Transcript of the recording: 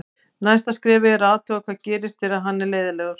Næsta skrefið er að athuga hvað gerist þegar hann er leiðinlegur.